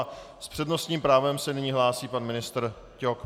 A s přednostním právem se nyní hlásí pan ministr Ťok.